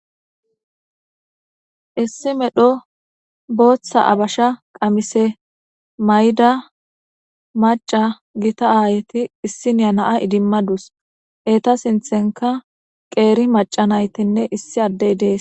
Issi medho booththa abasha qamise mayida macca githa aayethi issiniya na7a idimma dawus; etha sinththenka qeeri macca naythinne issi addey dees.